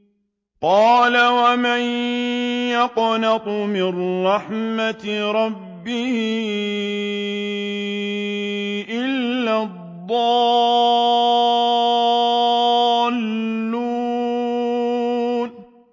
قَالَ وَمَن يَقْنَطُ مِن رَّحْمَةِ رَبِّهِ إِلَّا الضَّالُّونَ